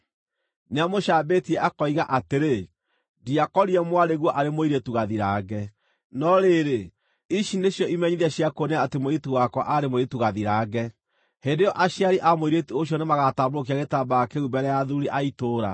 Nĩamũcambĩtie akoiga atĩrĩ, ‘Ndiakorire mwarĩguo arĩ mũirĩtu gathirange.’ No rĩrĩ, ici nĩcio imenyithia cia kuonania atĩ mũirĩtu wakwa arĩ mũirĩtu gathirange.” Hĩndĩ ĩyo aciari a mũirĩtu ũcio nĩmagatambũrũkia gĩtambaya kĩu mbere ya athuuri a itũũra,